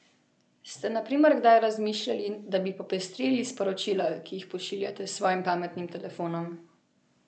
Ste na primer kdaj razmišljali, da bi popestrili sporočila, ki jih pošiljate s svojim pametnim telefonom?